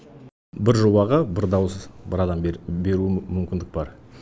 бір жобаға бір дауыс бір адам беру мүмкіндік бар